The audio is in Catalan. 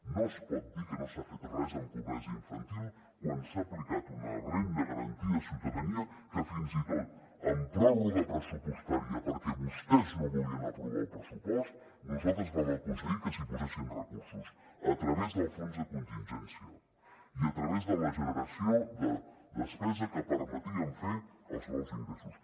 no es pot dir que no s’ha fet res en pobresa infantil quan s’ha aplicat una renda garantida de ciutadania que fins i tot amb pròrroga pressupostària perquè vostès no volien aprovar el pressupost nosaltres vam aconseguir que s’hi posessin recursos a través del fons de contingència i a través de la generació de despesa que permetia fer els nous ingressos